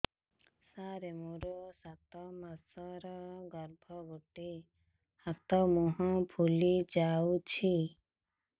ସାର ମୋର ସାତ ମାସର ଗର୍ଭ ଗୋଡ଼ ହାତ ମୁହଁ ଫୁଲି ଯାଉଛି